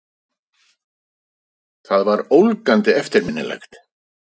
Það var ólgandi eftirminnilegt.